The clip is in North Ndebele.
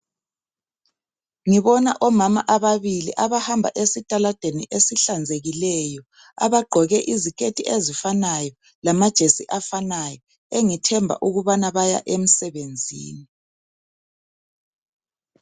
Ngibona omama ababili abahamba esitaladeni esihlanzekileyo. Abagqoke iziketi ezifanayo, lamajesi afanayo. Engithemba ukubana baya emsebenzini,